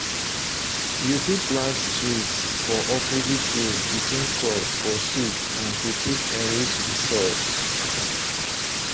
you fit plant trees for um opposite rows between crops for shade and to take enrich the soil